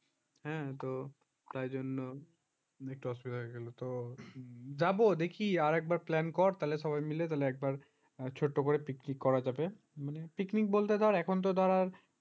হ্যাঁ তো তাই জন্য একটু অসুবিধা হয়ে গেল। তো আরেকবার plan কর তাহলে সবাই মিলে একবার ছোট্ট করে picnic করা যাবে picnic বলতে ধর এখন তো তো আর